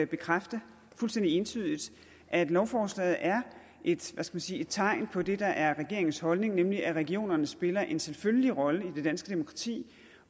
bekræfte fuldstændig entydigt at lovforslaget er et hvad skal man sige tegn på det der er regeringens holdning nemlig at regionerne spiller en selvfølgelig rolle i det danske demokrati